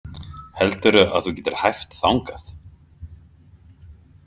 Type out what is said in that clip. Heldurðu að þú getir hæft þangað?